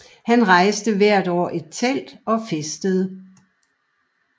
Her rejste man hvert år telt og festede